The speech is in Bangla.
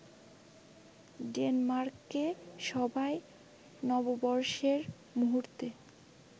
ডেনমার্কে সবাই নববর্ষের মুহূর্তে